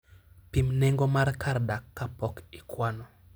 Pim nengo mar kar dak kapok ikwano.